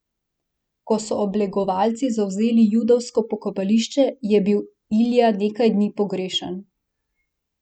Ko so oblegovalci zavzeli judovsko pokopališče, je bil Ilja nekaj dni pogrešan.